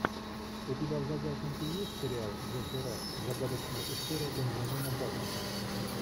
у тебя в загашнике есть сериал джеффри раш загадочная история бенджамина баттона